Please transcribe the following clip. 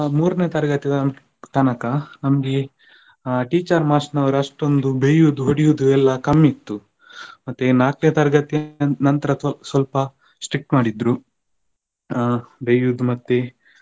ಮೂರನೇ ತರಗತಿ ತನಕ ನಮ್ಗೆ teacher ಮಾಸ್ಟ್ರು ನವರು ಅಷ್ಟೊಂದು ಬಯ್ಯುದು ಹೊಡಿಯುದು ಎಲ್ಲ ಕಮ್ಮಿ ಇತ್ತು ಮತ್ತೆ ನಾಲ್ಕನೇ ತರಗತಿಯ ನಂತರ ಸ್ವಲ್ಪ strict ಮಾಡಿದ್ರು ಆ ಬಯ್ಯುದು ಮತ್ತೆ